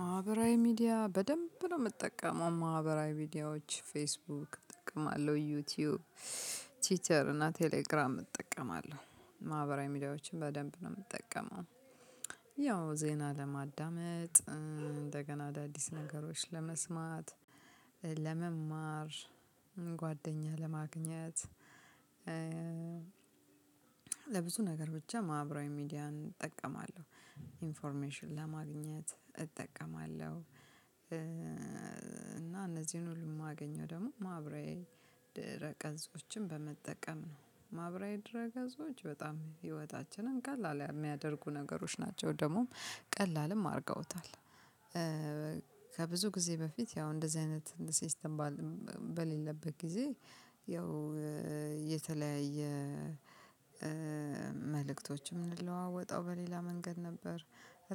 ማህበራዊ ሚዲያ በደንብ ነው የምጠቀመው ማህበራዊ ሚዲያዎች ፌስቡክ እጠቀማለሁ ዩቲዩብ ቲዩተር እና ቴሌግራም እጠቀማለሁ ማህበራዊ ሚዲያዎችን በደንብ ነው የምጠቀመው። ያው ዜና ለማዳመጥ እንደገና አዳዲስ ነገሮች ለመስማት ለመማር ጓደኛ ለማግኘት ለብዙ ነገር ብቻ ማህበራዊ ሚዲያን እጠቀማለሁ። ኢንፎርሜሽን ለማግኘት እጠቀማለሁ። እና እነዚህን ሁሉ የማገኘው ደግሞ ማብራያዬ ድረ ቀንጾችን በመጠቀም ነው ማብራራያ ድረ ገዞች በጣም ህይወታችንን ቀላል የሚያደርጉ ነገሮች ናቸው ደግሞ ቀላልም አድርገውታል። ከብዙ ጊዜ በፊት ያው እንደዚህ አይነት ሲስተም በሌለበት ጊዜ ያው የተለያየ መልእክቶችም እንለዋወጣው በሌላ መንገድ ነበር።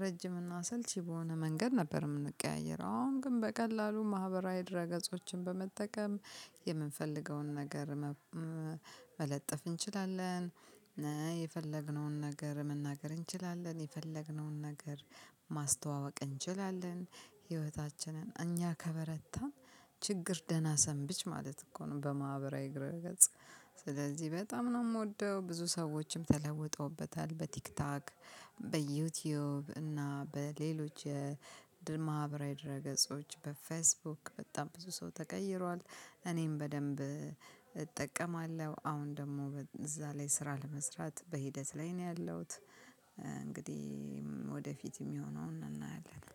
ረጅም እና አሰልቺ በሆነ መንገድ ነበር የምንቀያየረው አሁን ግን በቀላሉ ማህበራዊ ድረ ገጾችን በመጠቀም የምንፈልገውን ነገር መለጠፍ እንችላለን። የፈለግነውን ነገር መናገር እንችላለን የፈለግነውን ነገር ማስተዋወቅ እንችላለን። ህይወታችንን እኛ ከበረታ ችግር ደህና ሰንብች ማለት እኮ ነው። በማህበራዊ ግራ ገጽ ስለዚህ በጣም ነው የምወደው ብዙ ሰዎችም ተለውጠውበታል። በቲክቶክ በዩቲዩብ እና በሌሎች የድል ማህበራዊ ድረ ገጾች በፌስቡክ በጣም ብዙ ሰው ተቀይሯል። እኔም በደንብ እጠቀማለሁ አሁን ደግሞ እዛ ላይ ስራ ለመስራት በሂደት ላይ ነው ያለሁት። እንግዲህ የሆነውን እናያለን